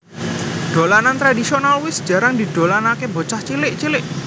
Dolanan tradhisional wis jarang didolanaké bocah cilik cilik